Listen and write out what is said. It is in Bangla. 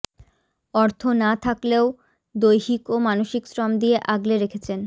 অর্থ না থাকলেও দৈহিক ও মানসিক শ্রম দিয়ে আগলে রেখেছেন